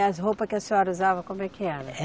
As roupa que a senhora usava, como é que era?